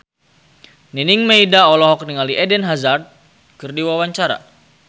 Nining Meida olohok ningali Eden Hazard keur diwawancara